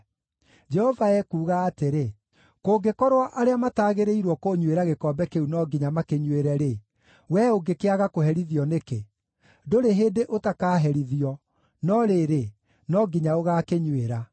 Jehova ekuuga atĩrĩ: “Kũngĩkorwo arĩa mataagĩrĩirwo kũnyuĩra gĩkombe kĩu no nginya makĩnyuĩre-rĩ, wee ũngĩkĩaga kũherithio nĩkĩ? Ndũrĩ hĩndĩ ũtakaherithio, no rĩrĩ, no nginya ũgaakĩnyuĩra.”